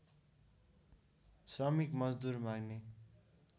श्रमिक मजदूर माग्ने